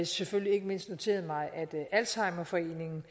selvfølgelig ikke mindst noteret mig at alzheimerforeningen